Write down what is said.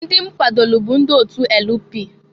Ndị m kwadolu bụ ndị otu LP.